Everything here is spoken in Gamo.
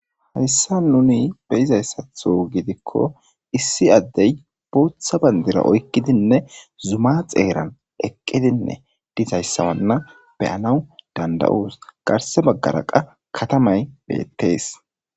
Heyssa nuni be izayssatho gidikko issi addey booththa bandira oykkidinne zuma xeeran eqqidinne dishayssawanna beyanaw danda'uus garse baggara qa katamay beettees.